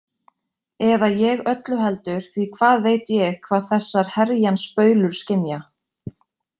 Eða ég öllu heldur því hvað veit ég hvað þessar herjans baulur skynja?